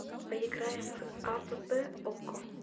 поиграем в апп око